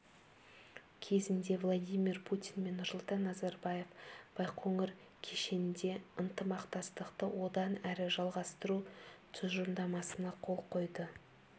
кезінде владимир путин мен нұрсұлтан назарбаев байқоңыр кешенінде ынтымақтастықты одан әрі жалғастыру тұжырымдамасына қол қойды